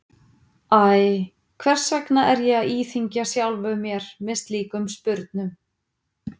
Æ, hvers vegna er ég að íþyngja sjálfum mér með slíkum spurnum?